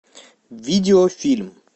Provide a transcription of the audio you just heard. видео фильм